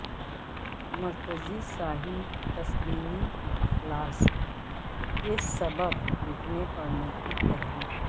مرتضی ساحل تسلیمی کے اخلاص کے سبب لکھنے پڑھنے کی تحریک